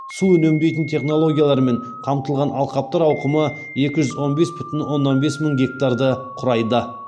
су үнемдейтін технологиялармен қамтылған алқаптар ауқымы екі жүз он бес бүтін оннан бес мың гектарды құрайды